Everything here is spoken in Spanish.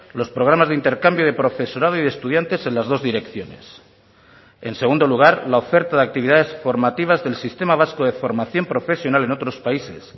los programas de intercambio de profesorado y de estudiantes en las dos direcciones en segundo lugar la oferta de actividades formativas del sistema vasco de formación profesional en otros países